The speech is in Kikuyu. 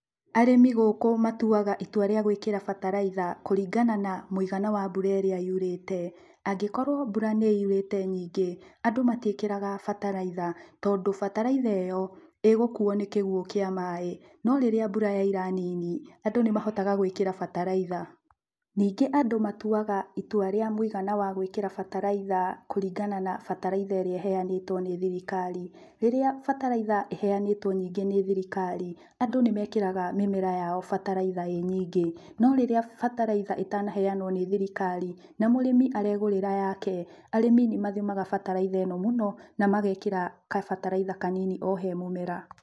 Arĩmi gũkũ matuaga itua rĩa gwĩkĩra bataraitha kũringana na mũigana wa mbura ĩrĩa yurĩte, angĩkorwo mbura nĩ yurĩte nyingĩ andũ matiĩkĩraga bataraitha tondũ bataraitha ĩyo, ĩgũkuo nĩ kĩguo kĩa maĩ, no rĩrĩa mbura yoira nini andũ nĩ mahotaga gwĩkĩra bataraitha, ningĩ andũ matuaga itua rĩa mũigana wa gwĩkĩra bataraitha kũringana na bataraitha ĩrĩa ĩhaenĩtwo nĩ thirikari, rĩrĩa bataraitha ĩheanĩtwo nyingĩ nĩ thirikari andũ nĩmekĩrega mĩmera yao bataraitha ĩnyingĩ no rĩrĩa bataraitha ĩtanaheanwo nĩ thirikari na mũrĩmi aregũrĩra yake, arĩmi nĩ mathimaga bataraitha ĩno mũno na magekĩra kabataraitha kanini o he mũmera.